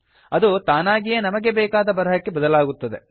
ಅದು ತಾನಾಗಿಯೇ ನಮಗೆ ಬೇಕಾದ ಬರಹಕ್ಕೆ ಬದಲಾಗುತ್ತದೆ